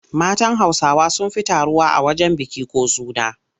Matan Hausawa sun fi taruwa a wajen biki ko suna.